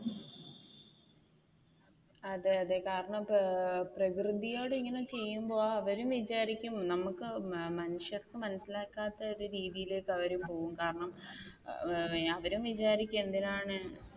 അതെ അതെ കാരണം പ്രകൃതിയോട് ഇങ്ങനെ ചെയ്യുമ്പോൾ അവരും വിചാരിക്കും നമുക്ക് മനുഷ്യർക്ക് മനസിലാക്കാത്ത ഒരു രീതിയിലേക്ക് അവർ പോവും കാരണം അവരും വിചാരിക്കും എന്തിനാണ്?